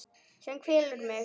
Sem kvelur mig.